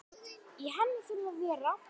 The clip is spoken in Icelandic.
Í henni þurfa að vera